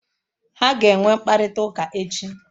Ha ga-enwe mkparịta ụka echi